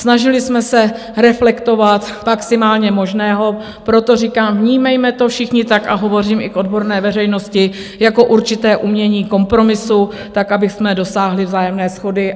Snažili jsme se reflektovat maximum možného, proto říkám, vnímejme to všichni tak, a hovořím i k odborné veřejnosti, jako určité umění kompromisu tak, abychom dosáhli vzájemné shody.